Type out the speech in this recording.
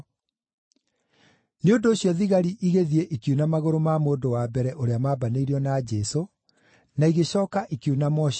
Nĩ ũndũ ũcio thigari igĩthiĩ ikiuna magũrũ ma mũndũ wa mbere ũrĩa mambanĩirio na Jesũ na igĩcooka ikiuna ma ũcio ũngĩ.